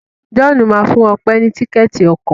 John má fún Òpe ní Tíkẹ́ẹ̀tì ọkọ̀.